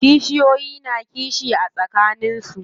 Kishiyoyi na kishi a tsakanin su.